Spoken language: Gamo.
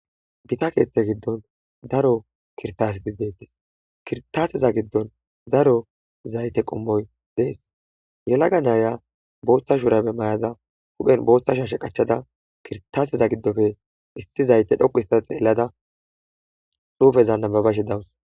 Gita keeththe giddon daro kirtas dibbedis kirtaasiza giddon daro zayte qommoy dees yelaga naaya booththa shuurabe mayada huphen booththa shashe qachada kirtasiza giddofe issi zayte dhoqu ista xeellada suufeza nababashe dawus.